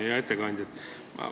Hea ettekandja!